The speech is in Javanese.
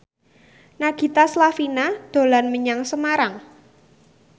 Nagita Slavina dolan menyang Semarang